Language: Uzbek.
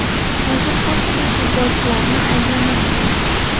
Hozir ko‘pchilik futbolchilarni ayblamoqda.